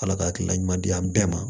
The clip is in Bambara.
Ala ka hakilina ɲuman di an bɛɛ ma